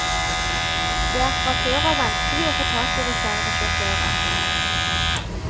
Det er fra før av vanskelig å få tak i reservesjåfører.